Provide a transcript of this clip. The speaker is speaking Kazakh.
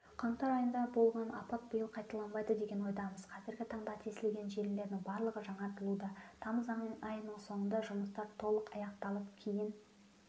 қаңтар айында болған апат биыл қайталанбайды деген ойдамыз қазіргі таңда тесілген желілердің барлығы жаңартылуда тамыз айының соңында жұмыстар толық аяқталып кейін